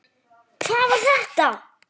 HVAÐ VAR ÞETTA?